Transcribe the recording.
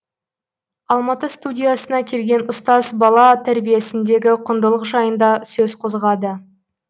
алматы студиясына келген ұстаз бала тәрбиесіндегі құндылық жайында сөз қозғады